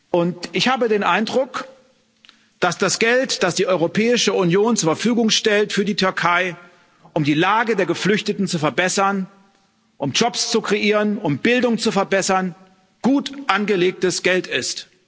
Und ich habe den Eindruck, dass das Geld, das die Europäische Union für die Türkei zur Verfügung stellt, um die Lage der Geflüchteten zu verbessern, um Jobs zu kreieren, um Bildung zu verbessern, gut angelegtes Geld ist.